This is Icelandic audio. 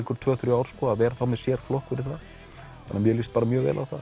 tvö þrjú ár að vera þá með sérflokk fyrir það mér líst bara mjög vel á það